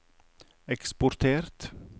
eksportert